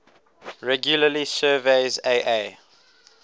regularly surveys aa